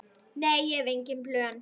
Nei, ég hef engin plön.